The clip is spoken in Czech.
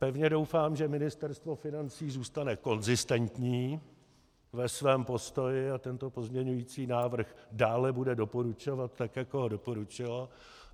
Pevně doufám, že Ministerstvo financí zůstane konzistentní ve svém postoji a tento pozměňující návrh bude dále doporučovat, tak jako ho doporučilo.